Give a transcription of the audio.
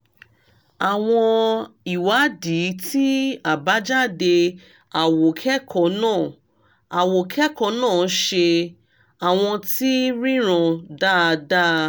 àwọn ìwádìí tí àbájáde àwòkẹ́kọ̀ọ́ náà àwòkẹ́kọ̀ọ́ náà ṣe: àwọ̀n ti ríran dáadáa